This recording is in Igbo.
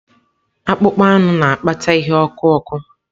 Akpụkpọ anụ na-akpata ihe ọkụ ọkụ.